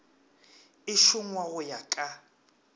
e šongwa go ya ka